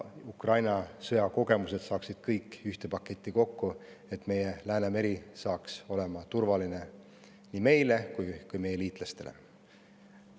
Ukraina sõja kogemused saaksid kõik ühte paketti kokku, et Läänemeri oleks turvaline nii meile kui ka meie liitlastele.